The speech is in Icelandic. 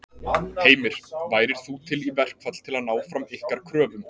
Heimir: Værir þú til í verkfall til að ná fram ykkar kröfum?